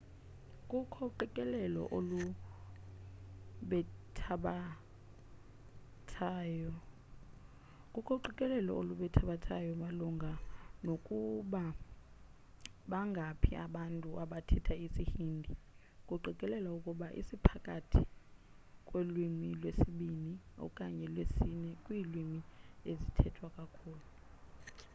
kukho uqikelelo olubethabethanayo malunga nokuba bangaphi abantu abathetha isi-hindi kuqikelelwa ukuba siphakathi kwelwimi lwesibini okanye lwesine kwiilwimi ezithethwa kakhulu